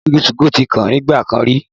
Òkìkí 2go tí kan nígbà kan rí